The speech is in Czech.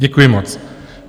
Děkuji moc.